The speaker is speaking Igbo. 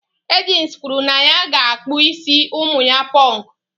Agnes kwuru na ya ga-akpụ isi ụmụ ya Pọnkụ.